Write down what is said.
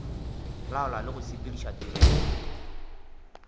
laola le go sepediša tirelo